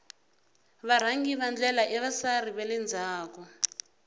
varhangi va ndlela i vasari vale ndzhaku